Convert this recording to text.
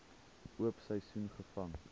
oop seisoen gevang